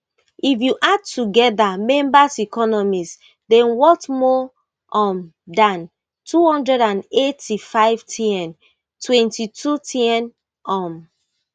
if you add together members economies dem worth more um dan two hundred and eighty-five tn twenty-two tn um